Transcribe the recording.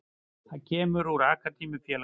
Hann kemur úr akademíu félagsins.